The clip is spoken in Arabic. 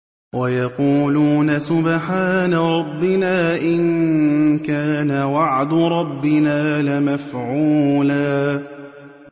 وَيَقُولُونَ سُبْحَانَ رَبِّنَا إِن كَانَ وَعْدُ رَبِّنَا لَمَفْعُولًا